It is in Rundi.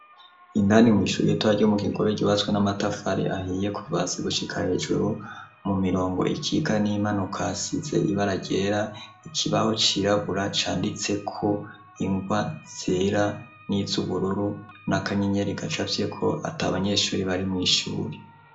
Indani mw'ishuri itoagumu kingobe gibaswe n'amatavari ahiye kuvasi gushika hejuru mu mirongo ikiga n'impanuka size ibara gera ikibaho cirabura canditse ku ingwa zera n'its ubururu n'akanyenyeri gacapye ko ati abanyeshuri bari mw'ishuri.